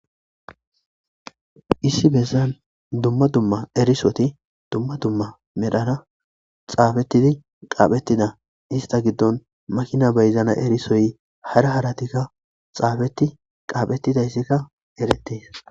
Issi bessan dumma dumma erisoti dumma dumma medhara xaafetidi qaaphetida ista giddon makina beyzana erisoy hara haratikka xaafeti qaaphettidayssikka eretes.